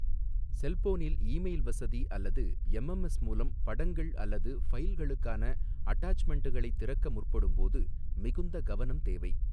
செல்போனில் இமெயில் வசதி அல்லது எம்எம்எஸ் மூலம் படங்கள் அல்லது ஃபைல்களுக்கான அட்டாச்மென்ட்களை திறக்க முற்படும்போது மிகுந்த கவனம் தேவை.